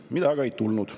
Seda aga ei ole tulnud.